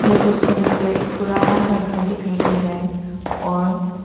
यह तस्वीर में जो एक पुराना सा घर दिखाई दे रहा है और--